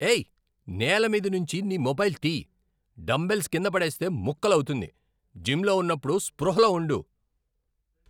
ఏయ్ నేల మీద నుంచి నీ మొబైల్ తీయ్, డంబెల్స్ కింద పడేస్తే ముక్కలవుతుంది, జిమ్లో ఉన్నప్పుడు స్పృహలో ఉండు.